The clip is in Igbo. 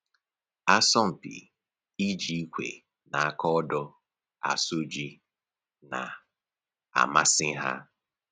Asọmpi iji ikwe na aka odo asụ ji na-amasị ha